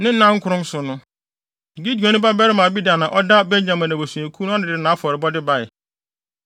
Ne nnankron so no, Gideoni babarima Abidan a ɔda Benyamin abusuakuw ano no de nʼafɔrebɔde bae.